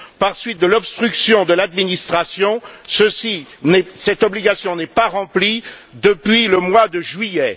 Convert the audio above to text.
Par suite de l'obstruction de l'administration, cette obligation n'est pas remplie depuis le mois de juillet.